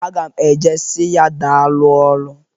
Aga m e je si ya daalụ ọlụ.